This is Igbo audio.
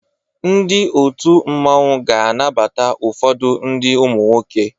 Ndi otụ mmanwu ga anabata ụfodu ndi umunwoke.